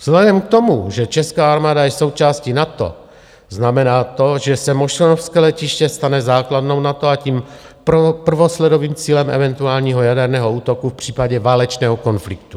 Vzhledem k tomu, že česká armáda je součástí NATO, znamená to, že se mošnovské letiště stane základnou NATO, a tím prvosledovým cílem eventuálního jaderného útoku v případě válečného konfliktu.